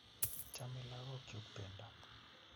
Chame lagok chuk pendo